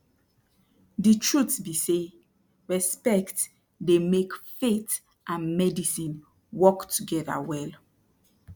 de truth be say respect dey make faith and medicine work togeda well